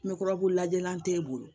Me kɔrɔ ko lajɛlan t'e bolo